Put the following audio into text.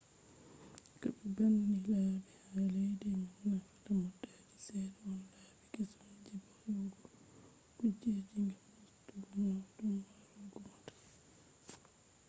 ko be banni labi ha leddi man nafata motaji sedda on labi kesum je hebugo kujeji gam ustugo nawdum marugo mota